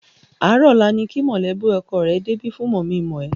Àárọ̀ ọ̀la ni kí mọ̀lẹ́bí ọkọ rẹ débi fún mọ̀-mí-n-mọ̀-ẹ́.